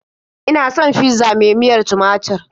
Ina son fizza mai miyar tumatur.